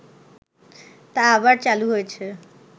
তা আবার চালু হয়েছে